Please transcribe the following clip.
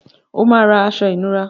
O máa ra aṣọ ìnura.